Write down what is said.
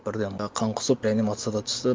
бірден қан құсып реанимацияға түсті